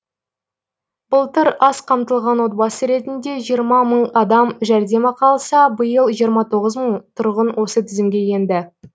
былтыр аз қамтылған отбасы ретінде жиырма мың адам жәрдемақы алса биыл жиырма тоғыз мың тұрғын осы тізімге енді